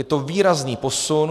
Je to výrazný posun.